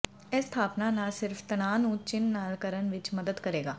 ਇਹ ਸਥਾਪਨਾ ਨਾ ਸਿਰਫ ਤਣਾਅ ਨੂੰ ਚਿੰਨ੍ਹ ਨਾਲ ਕਰਨ ਵਿੱਚ ਮਦਦ ਕਰੇਗਾ